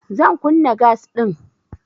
Zan kunna gas ɗin.